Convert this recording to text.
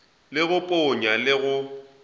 la go ponya le go